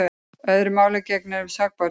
Öðru máli gegnir um sakborningana.